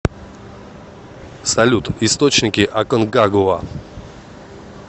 салют источники аконкагуа